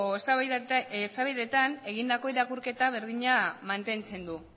eztabaidetan egindako irakurketa berdina mantentzen du